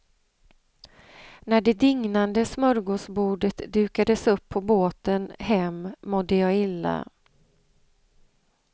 När det dignande smörgåsbordet dukades upp på båten hem mådde jag illa.